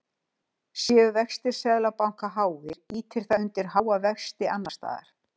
Séu vextir Seðlabanka háir ýtir það undir háa vexti annars staðar.